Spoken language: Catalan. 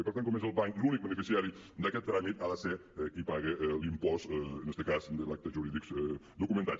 i per tant com és el banc l’únic beneficiari d’aquest tràmit ha de ser qui paga l’impost en este cas de l’acte jurídic documentat